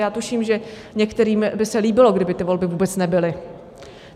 Já tuším, že některým by se líbilo, kdyby ty volby vůbec nebyly.